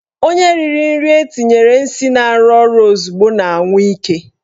Onye riri nri etinyere nsị na-arụ ọrụ ozugbo na-anwụ ike.